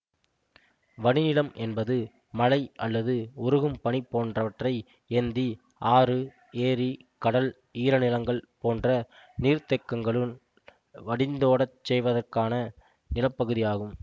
வடிநிலம் என்பது மழை அல்லது உருகும் பனி போன்றவற்றை ஏந்தி ஆறு ஏரி கடல் ஈரநிலங்கள் போன்ற நீர்த்தேக்கங்களுள் வடிந்தோடச் செய்வதற்கான நிலப்பகுதி ஆகும்